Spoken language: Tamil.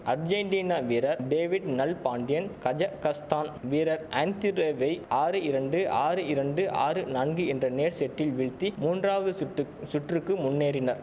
அர்ஜேன்டினா வீரர் டேவிட் நல்பாண்டியன் கஜகஸ்தான் வீரர் ஆந்திரேவை ஆறு இரண்டு ஆறு இரண்டு ஆறு நான்கு என்ற நேர் செட்டில் வீழ்த்தி மூன்றாவது சுட்டு சுற்றுக்கு முன்னேறினர்